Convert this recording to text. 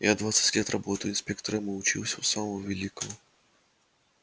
я двадцать лет работаю инспектором и учился у самого великого